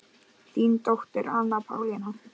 Þín dóttir Anna Pálína.